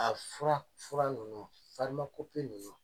A fura fura ninnu ninnu